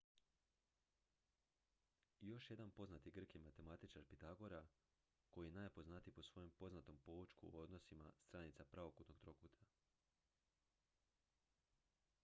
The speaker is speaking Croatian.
još jedan poznati grk je matematičar pitagora koji je najpoznatiji po svojem poznatom poučku o odnosima stranica pravokutnog trokuta